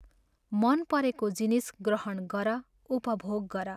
मन परेको जिनिस ग्रहण गर, उपभोग गर।